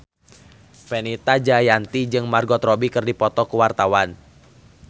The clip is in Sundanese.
Fenita Jayanti jeung Margot Robbie keur dipoto ku wartawan